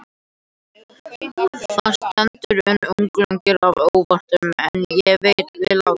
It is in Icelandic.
Þar stendur: En unglingur af óvananum ei vill láta